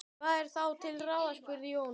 Hvað er þá til ráða? spurði Jón.